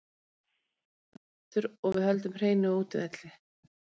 Við skorum hérna þrjú mörk aftur og við höldum hreinu á útivelli.